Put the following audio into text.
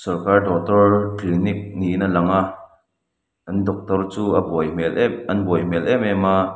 doctor clinic niin a lang a an doctor chu a buai hmel em an buai hmel em em a.